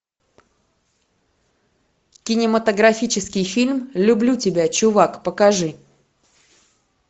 кинематографический фильм люблю тебя чувак покажи